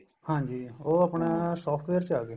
ਹਾਂਜੀ ਉਹ ਆਪਣਾ software ਚ ਆ ਗਏ